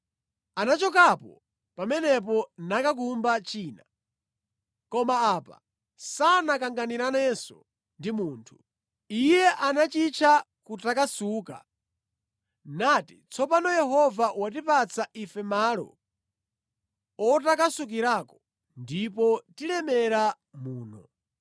Anachokapo pamenepo nakakumba china. Koma apa sanakanganiranenso ndi munthu. Iye anachitcha Kutakasuka, nati, “Tsopano Yehova watipatsa ife malo otakasukirako ndipo tilemera muno.”